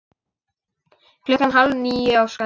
Klukkan hálf níu á Skalla!